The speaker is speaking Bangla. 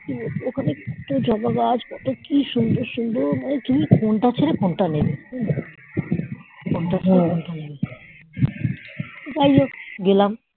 ওখানে কত জবা গাছ কত কি সুন্দর সুন্দর তুমি কোনটি ছেড়ে কোনটা নিব জিয়া হোক গেলাম